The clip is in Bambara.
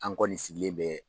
An kɔni sigilen bɛɛ.